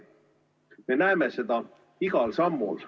Me näeme seda igal sammul.